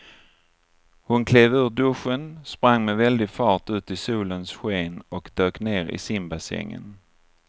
Hon klev ur duschen, sprang med väldig fart ut i solens sken och dök ner i simbassängen.